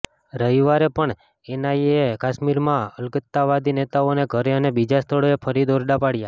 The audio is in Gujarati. રવિવારે પણ એનઆઇએ એ કાશ્મીરમાં અલગતાવાદી નેતાઓના ઘરે અને બીજા સ્થળોએ ફરી દરોડા પાડ્યા